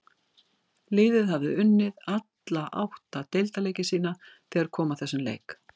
Liðið hafði unnið alla átta deildarleiki sína þegar kom að þessum leik.